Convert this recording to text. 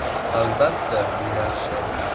Albatta, bu yaxshi.